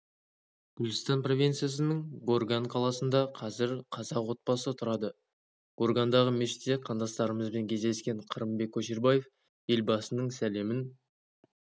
гүлстан провинциясының горган қаласында қазір қазақ отбасы тұрады горгандағы мешітте қандастарымызбен кездескен қырымбек көшербаев елбасының сәлемін